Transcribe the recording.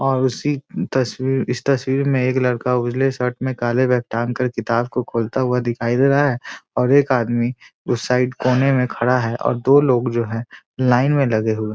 और उसी तस्वीर इस तस्वीर में एक लड़का उजले शर्ट में काले बैग टांग कर किताब को खोलता हुआ दिखाई दे रहा है और एक आदमी उस साइड कोने में खड़ा है और दो लोग जो हैं लाइन में लगे हुए --